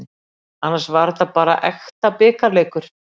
Annars var þetta var bara ekta bikarleikur.